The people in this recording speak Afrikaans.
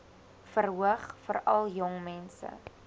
verhoog veral jongmense